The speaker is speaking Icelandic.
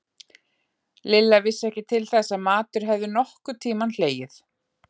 Lilla vissi ekki til þess að matur hefði nokkurn tímann hlegið.